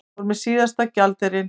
Fór með síðasta gjaldeyrinn